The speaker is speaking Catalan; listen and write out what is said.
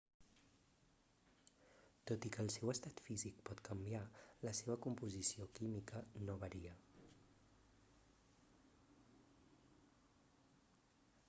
tot i que el seu estat físic pot canviar la seva composició química no varia